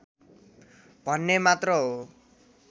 भन्ने मात्र हो